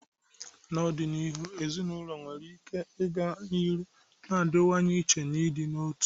N'ọdịniihu, ezinaụlọ nwere ike ịga n'ihu na-adịwanye iche na ndị otu.